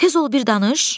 Tez ol bir danış!